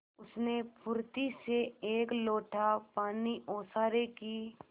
उसने फुर्ती से एक लोटा पानी ओसारे की